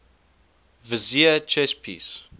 vizier chess piece